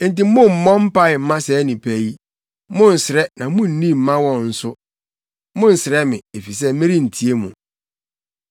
“Enti mommmɔ mpae mma saa nnipa yi, monnsrɛ na munni mma wɔn nso; monnsrɛ me, efisɛ merentie mo.